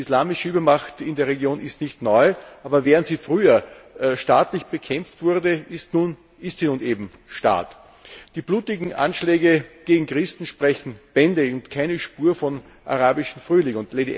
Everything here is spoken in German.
Die islamische Übermacht in der Region ist nicht neu, aber während sie früher staatlich bekämpft wurde, ist sie nun eben Staat. Die blutigen Anschläge gegen Christen sprechen Bände keine Spur von arabischem Frühling!